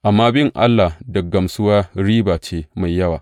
Amma bin Allah da gamsuwa riba ce mai yawa.